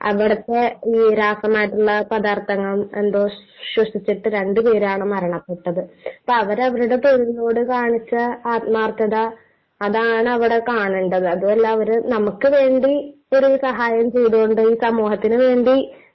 അവിടത്തെ ഈ രാസപരമായിട്ടുള്ള പദാർത്ഥങ്ങൾ എന്തോ ശ്വസിച്ചിട്ട് രണ്ടുപേരാണ് മരണപെട്ടത്.അപ്പൊ അവരവരുടെ തൊഴിലിനോട് കാണിച്ച ആത്മാർത്ഥത, അതാണ് അവിടെ കാണേണ്ടത്.അതുമല്ല അവര് നമുക്ക് വേണ്ടി ഒരു സഹായവും ചെയ്തുകൊണ്ട്, സമൂഹത്തിനു വേണ്ടി...